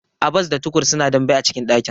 Abbas da Tukur suna dambe a cikin dakin.